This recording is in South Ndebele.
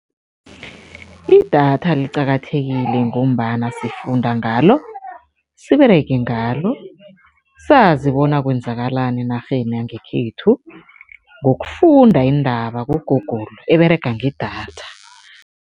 Idatha liqakathekile ngombana sifunda ngalo, siberege ngalo, sazi bona kwenzakalani enarheni yangekhethu ngokufunda iindaba ku-Google eberega ngedatha.